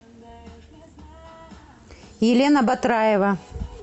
елена батраева